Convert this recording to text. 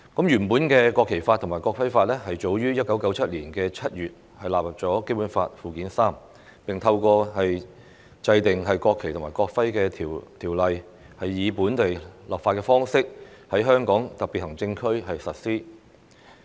原本的《國旗法》和《國徽法》早於1997年7月納入《基本法》附件三，並透過制定《國旗及國徽條例》，以本地立法方式在香港特別行政區實施。